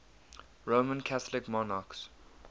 roman catholic monarchs